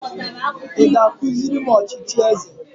Ị ga-akụziri m ọchịchị eze?